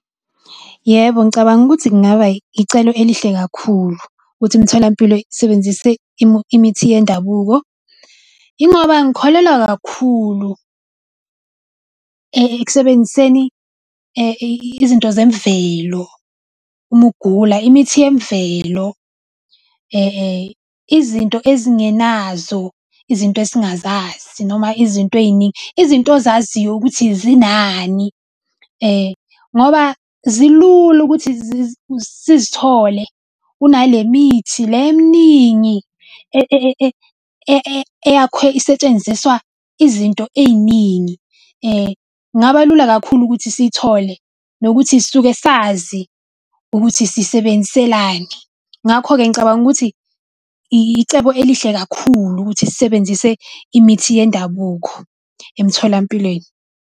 Yebo ngicabanga ukuthi kungaba icelo elihle kakhulu ukuthi imitholampilo isebenzise imithi yendabuko. Ingoba ngikholelwa kakhulu ekusebenziseni izinto zemvelo uma ugula, imithi yemvelo, izinto ezingenazo izinto esingazazi noma izinto ey'ningi izinto ozaziyo ukuthi zinani. Ngoba zilula ukuthi sizithole kunale mithi le eminingi eyakhiwe isetshenziswa izinto ey'ningi. Kungaba lula kakhulu ukuthi siyithole nokuthi sisuke sazi ukuthi sisebenziselani. Ngakho-ke ngicabanga ukuthi icebo elihle kakhulu ukuthi sisebenzise imithi yendabuko emtholampilweni.